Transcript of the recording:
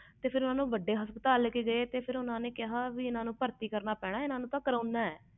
ਫਿਰ ਓਹਨੂੰ ਵੱਡੇ ਹਸਪਤਾਲ ਲੈ ਕੇ ਗਏ ਓਹਨਾ ਕਿਹਾ ਇਹਨੂੰ ਤੇ ਭਾਰਤੀ ਕਰਨਾ ਪੈਣਾ ਆ ਕਰੋਨਾ ਆ